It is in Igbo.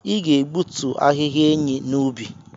Ị ga-egbutu ahịhịa enyí n'ubi!